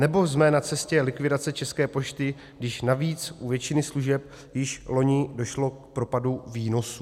Nebo jsme na cestě likvidace České pošty, když navíc u většiny služeb již loni došlo k propadu výnosů?